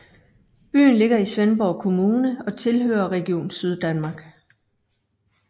Byen ligger i Svendborg Kommune og tilhører Region Syddanmark